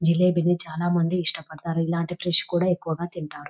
జిలేబిని చాలామంది ఇస్తాపడతారు ఇలాంటి ఫ్రెష్ కూడా ఎక్కువగా తింటారు.